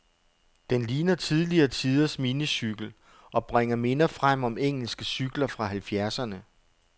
Den ligner tidligere tiders minicykel, og bringer minder frem om engelske cykler fra halvfjerdserne.